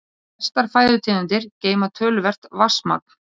Flestar fæðutegundir geyma töluvert vatnsmagn.